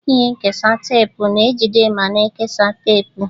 Ihe nkesa teepu na-ejide ma na-ekesa teepu.